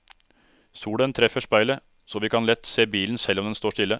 Solen treffer speilet, så vi kan lett se bilen selv om den står stille.